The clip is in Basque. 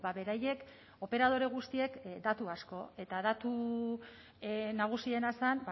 beraiek operadore guztiek datu asko eta datu nagusiena zen